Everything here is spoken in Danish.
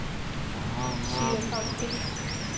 Thi Rahbek